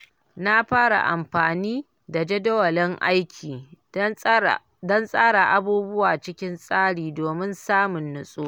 Na fara amfani da jadawalin aiki don tsara abubuwa cikin tsari domin samun natsuwa.